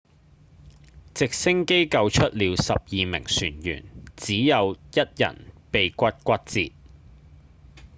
直升機救出了十二名船員只有一人鼻骨骨折